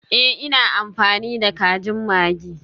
Ee, ina amfani da kajin maggi.